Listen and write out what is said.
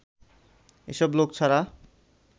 এসব লোক ছাড়া